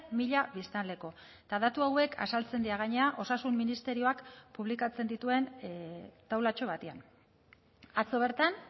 mila biztanleko eta datu hauek azaltzen dira gainera osasun ministerioak publikatzen dituen taulatxo batean atzo bertan